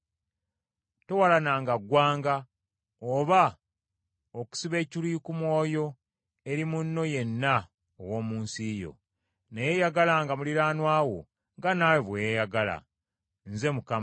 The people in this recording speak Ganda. “Towalananga ggwanga oba okusiba ekiruyi ku mwoyo eri munno yenna ow’omu nsi yo, naye yagalanga muliraanwa wo nga bwe weeyagala wekka. Nze Mukama .